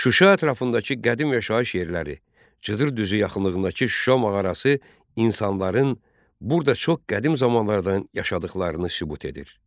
Şuşa ətrafındakı qədim yaşayış yerləri, Cıdır düzü yaxınlığındakı Şuşa mağarası insanların burda çox qədim zamanlardan yaşadıqlarını sübut edir.